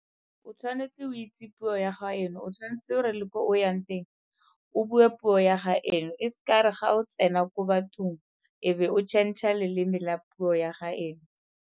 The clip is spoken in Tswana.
O tshwanetse o itse puo ya gaeno, o tshwanetse re le ko o yang teng o bue puo ya gaeno. E seka ya re ga o tsena ko bathong e be o changer leleme la puo ya gaeno.